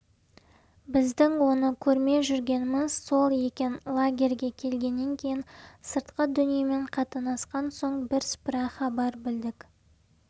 біздің оны көрмей жүргеніміз сол екен лагерьге келгеннен кейін сыртқы дүниемен қатынасқан соң бірсыпыра хабар білдік